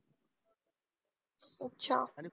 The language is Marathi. अच्छा